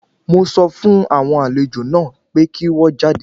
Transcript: Mo sọ fún àwọn àlejò náà pé kí wọ́n jáde.